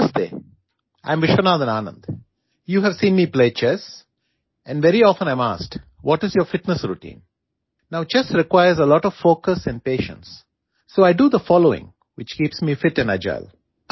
नमस्ते I am Viswanathan Anand you have seen me play chess and very often I am asked what is your fitness routine now chess requires a lot of focus and patience so I do the following which keeps me fit and अगिले